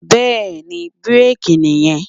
Bẹ́ẹ̀ni, bírèkì nì yẹn.